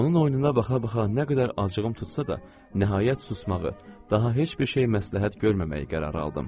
Onun oyununa baxa-baxa nə qədər acığım tutsa da, nəhayət susmağı, daha heç bir şey məsləhət görməməyi qərarı aldım.